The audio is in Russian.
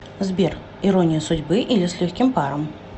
сбер ирония судьбы или с легким паром